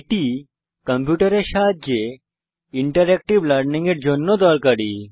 এটি কম্পিউটারের সাহায্যে ইন্টারেক্টিভ লার্নিং এর জন্য দরকারী